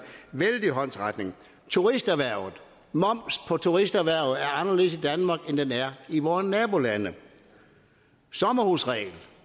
vældig håndsrækning turisterhvervet moms på turisterhvervet er anderledes i danmark end den er i vore nabolande sommerhusreglen